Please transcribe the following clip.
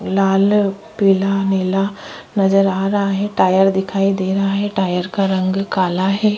लाल पीला नीला नज़र आ रहा है टायर दिखाई दे रहा है टायर का रंग काला है।